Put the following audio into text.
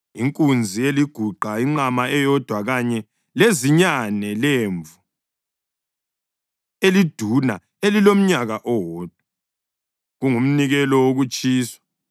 inkunzi eliguqa, inqama eyodwa kanye lezinyane lemvu eliduna elilomnyaka owodwa, kungumnikelo wokutshiswa;